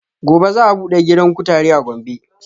Gobe za a buɗe gidan kutare a gombe